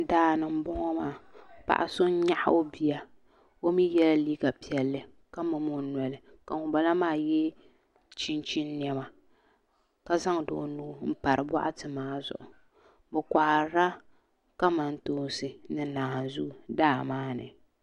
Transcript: Daani n boŋo maa paɣa so n nyaɣa o bia o mii yɛla liiga piɛlli ka mumi o noli ka ŋunbala maa yɛ chinchin niɛma ka zaŋdi o nuu n pari boɣati maa zuɣu bi koharila kamantoosi ni naanzuu daa maa ni